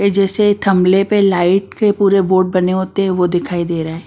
जैसे थमले पे लाइट के पूरे बोर्ड बने होते हैं वो दिखाई दे रहा है।